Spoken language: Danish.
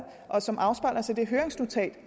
og som afspejler sig i høringsnotatet